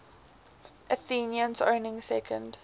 athenians owning second